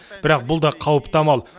бірақ бұл да қауіпті амал